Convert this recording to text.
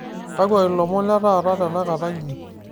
kakua ilomon letaata tenakata nji